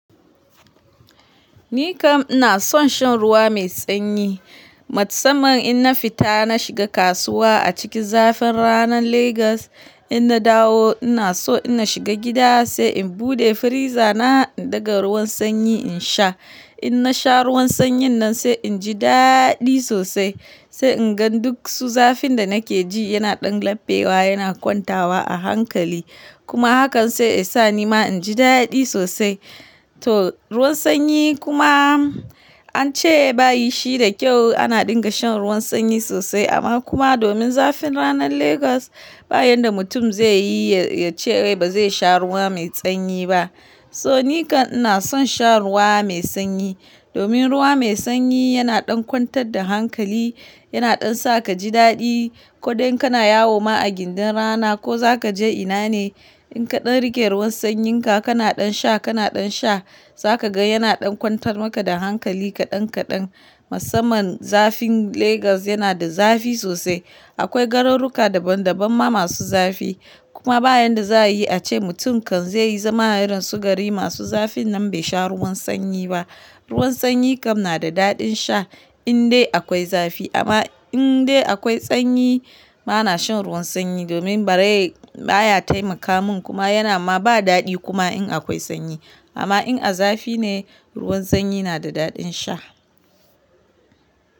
Ni kam ina son shan ruwa mai sanyi. Matsaman ina fita na shiga kasuwa a cikin zafin ranar Legas, ina dawo ina so ina shiga gida sai in bude firiza na in daga ruwan sanyi in sha. In na sha ruwan sanyin nan sai inji daɗi sosai. Sai inga duk su zafin da nake ji yana ɗan labbewa, yana kwantawa a hankali. Kuma hakan sai esa ni ma inji daɗi sosai. To ruwan sanyi kuma ance bayi shi da kyau ana dinga shan ruwan sanyi sosai amma kuma domin zafin ranar Legas ba yanda mutum zaiyi yace bai sha ruwa mai sanyi ba. So ni kam ina son sha ruwa mai sanyi. Domin ruwa mai sanyi yana ɗan kwantar da hankali, yana ɗan saka ji daɗi ko dai kana yawo ma a gindin rana ko zaka je ina ne. In kaɗan rike ruwan sanyinka kana ɗan sha kana ɗan sha, zaka ga yana ɗan kwantar maka da hankali kaɗan kaɗan. Matsaman zafin Legas yana da zafi sosai. Akwai garuruka daban daban ma masu zafi. Kuma ba yanda za'a yi a ce mutum kan zai yi zama a yaren sugari masu zafi nan bai sha ruwan sanyi ba. Ruwan sanyi kam na da daɗin sha in dai akwai zafi. Amma in dai akwai sanyi ba na shan ruwan sanyi domin bari baya taimaka mun kuma yana ma ba daɗi kuma in akwai sanyi. Amma in a zafi ne ruwan sanyi na da daɗin sha.